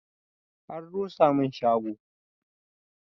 An rusa mun shago